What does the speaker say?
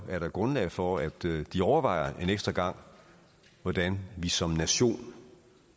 er der grundlag for at de overvejer en ekstra gang hvordan vi som nation